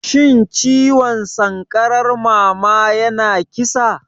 Shin ciwon sankarar mama yana kisa?